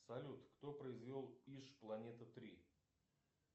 салют кто произвел иж планета три